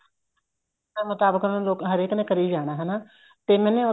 ਆਪਣੇ ਮੁਤਾਬਿਕ ਉਹਨਾ ਲੋਕਾ ਹਰੇਕ ਨੇ ਕਰੀ ਜਾਣਾ ਹਨਾ ਤੇ ਮੈਨੇ